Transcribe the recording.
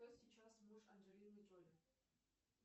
кто сейчас муж анджелины джоли